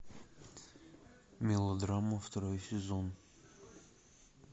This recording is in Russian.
мелодрама второй сезон